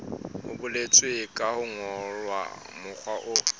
ho boletswe ka mokgwa o